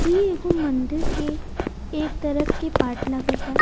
ये एक मंदिर के एक तरफ के पार्ट लगता--